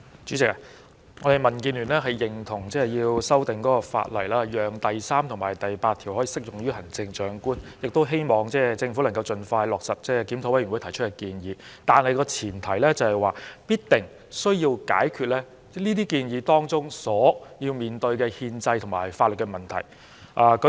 主席，我們民建聯認同需要修訂法例，讓第3及8條可適用於行政長官，亦希望政府盡快落實檢討委員會提出的建議，但前提是，必須解決該些建議當中所要面對的憲制和法律問題。